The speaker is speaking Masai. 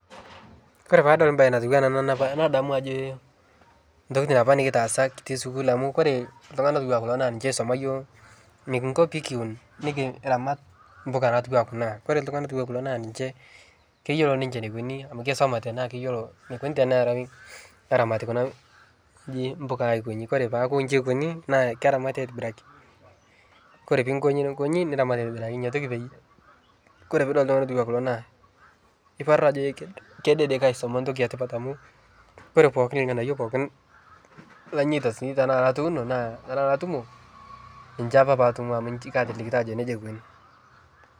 Kore paadol baye natuwana ana napa nadamu ajo ntokitin apa nikitaasa sukul amu kore ltung'ana otuwaa kulo naa ninche oisoma yuo nikinkuo pikiiun nikiramat mbuka natuwaa kuna kore ltung'ana otuwaa kulo naa ninche keyuolo ninche neikoni amu keisomate naa keyuolo neikoni terawi eramati kuna ng'oji mbuka aikonyi kore peaku inchi eikoni naa keramati aitibiraki kore piikonyi nikonyi neramat aitibiraki inia toki peyie kore puudol ltung'ana otuwa kulo naa, iparu ajo e kedede kaisoma ntoki etipat amu kore pooki lng'anayo pookin lanyeta sii tanaa latuuno naa tanaa latumo naa ninche apa paatumo amu ki katilikita ajo neja eikuni.